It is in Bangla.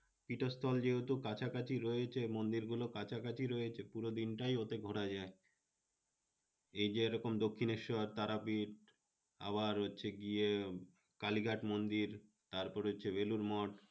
পীঠস্থল যেহেতু কাছাকাছি রয়েছে, মন্দিরগুলো কাছাকাছি রয়েছে, পুরো দিনটাই ওতে ঘোরা যায়। এই যে এরকম দক্ষিনেশ্বর, তারাপীঠ আবার হচ্ছে গিয়ে কালীঘাট মন্দির, তারপরে হচ্ছে বেলুড় মঠ।